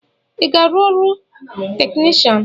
Ị ga-arụ ọrụ technishan?